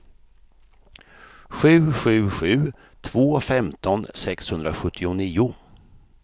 sju sju sju två femton sexhundrasjuttionio